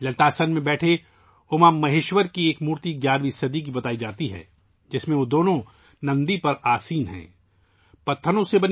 للت آسن میں بیٹھے اوما مہیشور کی مورتی 11ویں صدی کی بتائی جاتی ہے ، جس میں وہ دونوں نندی پر بیٹھے ہوئے ہیں